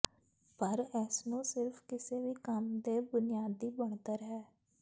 ਪਰ ਇਸ ਨੂੰ ਸਿਰਫ ਕਿਸੇ ਵੀ ਕੰਮ ਦੇ ਬੁਨਿਆਦੀ ਬਣਤਰ ਹੈ